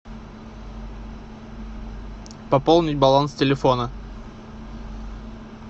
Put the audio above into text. пополнить баланс телефона